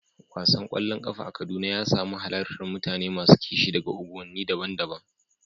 Wasan ƙwallon ƙafa a Kaduna ya samu halartar mutane masu kishi daga unguwanni daban-daban.